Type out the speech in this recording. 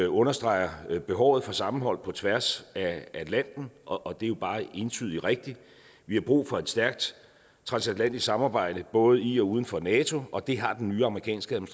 understreger behovet for sammenhold på tværs af atlanten og det er jo bare entydig rigtigt vi har brug for et stærkt transatlantisk samarbejde både i og uden for nato og det har den nye amerikanske